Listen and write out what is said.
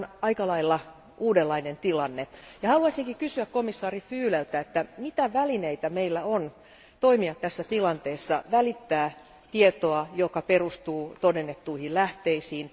Tämä on aika lailla uudenlainen tilanne, ja haluaisinkin kysyä komissaari Füleltä, että mitä välineitä meillä on toimia tässä tilanteessa, välittää tietoa, joka perustuu todennettuihin lähteisiin?